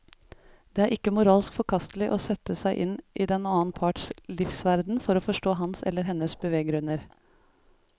Det er ikke moralsk forkastelig å sette seg inn i den annen parts livsverden for å forstå hans eller hennes beveggrunner.